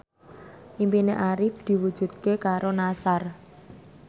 impine Arif diwujudke karo Nassar